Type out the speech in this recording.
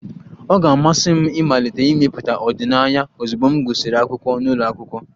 Ọ ga-amasị m ịmalite ịmepụta ọdịnaya ozugbo m gụsịrị akwụkwọ n'ụlọ akwụkwọ